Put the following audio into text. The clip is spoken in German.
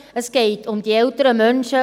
Es geht um ältere Menschen.